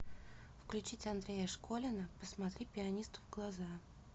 включить андрея школина посмотри пианисту в глаза